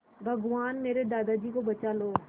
भगवान मेरे दादाजी को बचा लो